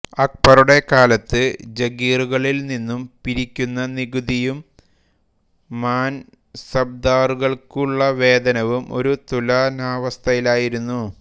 അക്ബറുടെ കാലത്ത് ജഗീറുകളിൽ നിന്നു പിരിക്കുന്ന നികുതിയും മാൻസബ്ദാറുകൾക്കുള്ള വേതനവും ഒരു തുലനാവസ്ഥയിലായിരുന്നു